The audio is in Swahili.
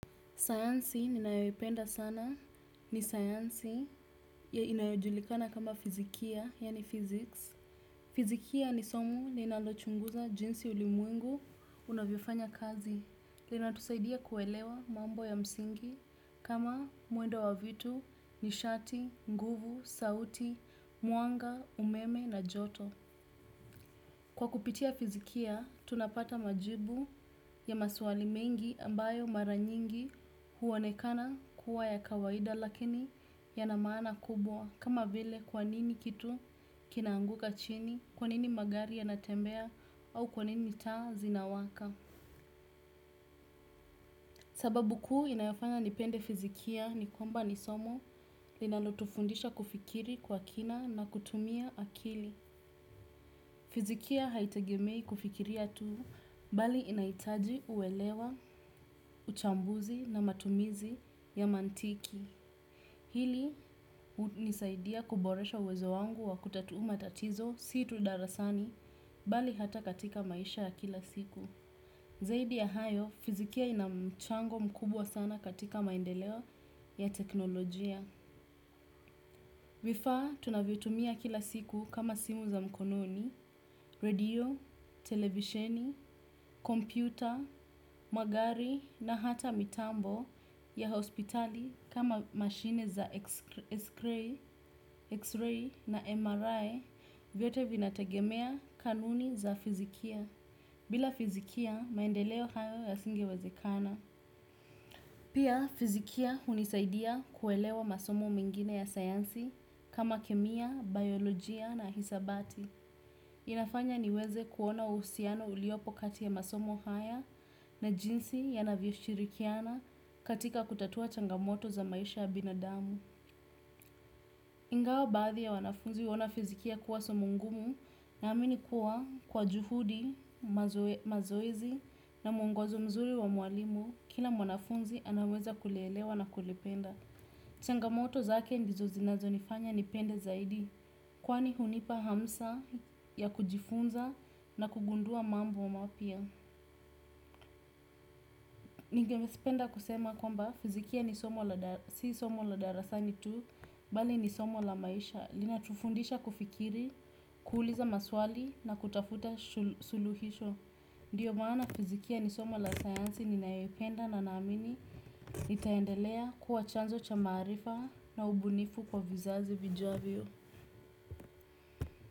Sayansi ninayoipenda sana ni sayansi inayojulikana kama fizikia, yani physics. Fizikia ni somo linalochunguza jinsi ulimwengu unavyofanya kazi. Linatusaidia kuelewa mambo ya msingi kama mwendo wa vitu, nishati, nguvu, sauti, mwanga, umeme na joto. Kwa kupitia fizikia, tunapata majibu ya maswali mengi ambayo mara nyingi huonekana kuwa ya kawaida lakini yana maana kubwa kama vile kwa nini kitu kina anguka chini, kwa nini magari yanatembea au kwa nini taa zinawaka. Sababu kuu inayofanya nipende fizikia ni kwamba ni somo linalotufundisha kufikiri kwa kina na kutumia akili. Fizikia haitegemei kufikiria tuu bali inahitaji uelewa, uchambuzi na matumizi ya mantiki. Hili hunisaidia kuboresha uwezo wangu wa kutatua matatizo si tu darasani bali hata katika maisha ya kila siku. Zaidi ya hayo, fizikia ina mchango mkubwa sana katika maendeleo ya teknolojia. Vifaa tunavyotumia kila siku kama simu za mkononi, redio, televisheni, kompyuta, magari na hata mitambo ya hospitali kama machine za x-ray na MRI vyote vinategemea kanuni za fizikia. Bila fizikia maendeleo hayo yasingewezekana. Pia fizikia hunisaidia kuelewa masomo mingine ya sayansi kama kemia, biolojia na hisabati. Inafanya niweze kuona uhusiano uliopo kati ya masomo haya na jinsi yanavyoshirikiana katika kutatua changamoto za maisha ya binadamu. Ingawa baadhi ya wanafunzi huona fizikia kuwa somo ngumu na amini kuwa kwa juhudi, mazoezi na mwongozo mzuri wa mwalimu, kila mwanafunzi anaweza kulielewa na kulipenda. Changamoto zake ndizo zinazonifanya niipende zaidi, kwani hunipa hamsa ya kujifunza na kugundua mambo wa mapya. Ningependa kusema kwamba fizikia si somo la darasani tu, bali ni somo la maisha. Linatufundisha kufikiri, kuuliza maswali na kutafuta suluhisho. Ndio maana fizikia ni somo la sayansi ninayoipenda na naamini litaendelea kuwa chanzo cha maarifa na ubunifu kwa vizazi vijavyo.